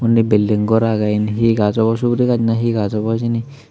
undi bilding gor agey yen hi gaj abow suguri gaj na hi gaj abow hijeni.